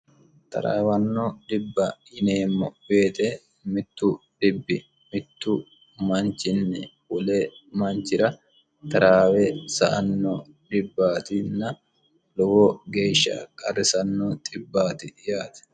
taraawanno dibba yineemmo weete mittu dhibbi mittu manchinni wole manchira taraawe sa'anno dibbaatinna lowo geeshsha qarrisanno xibbaati yaate